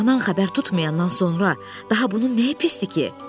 Anan xəbər tutmayandan sonra daha bunun nəyi pisdir ki?